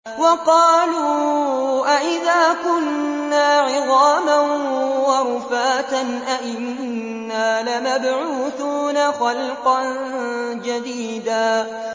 وَقَالُوا أَإِذَا كُنَّا عِظَامًا وَرُفَاتًا أَإِنَّا لَمَبْعُوثُونَ خَلْقًا جَدِيدًا